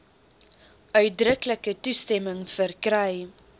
uitdruklike toestemming verkry